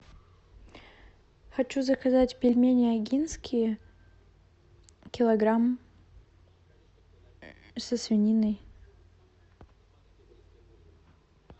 хочу заказать пельмени огинские килограмм со свининой